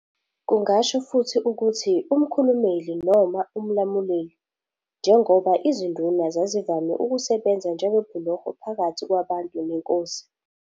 Kungasho futhi ukuthi "umkhulumeli" noma "umlamuleli", njengoba iziNduna zazivame ukusebenza njengebhuloho phakathi kwabantu nenkosi.